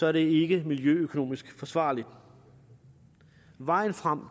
er det ikke miljøøkonomisk forsvarligt vejen frem